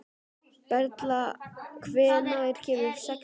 Perla, hvenær kemur sexan?